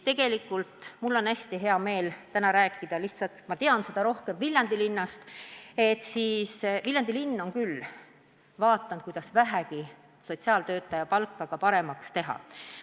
Aga mul on hästi hea meel täna rääkida – lihtsalt ma tean Viljandi linna asjadest rohkem –, et Viljandi linn on küll püüdnud sotsiaaltöötajate palka suuremaks teha.